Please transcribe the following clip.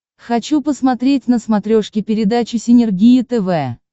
хочу посмотреть на смотрешке передачу синергия тв